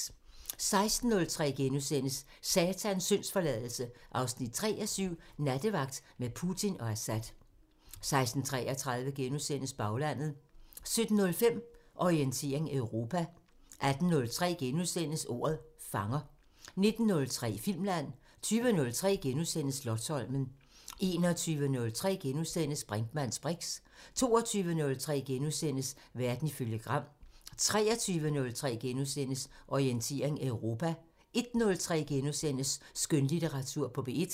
16:03: Satans syndsforladelse 3:7 – Nattevagt med Putin og Assad * 16:33: Baglandet * 17:05: Orientering Europa 18:03: Ordet fanger * 19:03: Filmland 20:03: Slotsholmen * 21:03: Brinkmanns briks * 22:03: Verden ifølge Gram * 23:03: Orientering Europa * 01:03: Skønlitteratur på P1 *